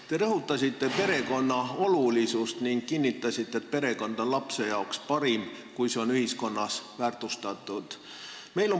Te rõhutasite perekonna olulisust ning kinnitasite, et perekond on lapsele parim, kui see on ühiskonnas väärtustatud.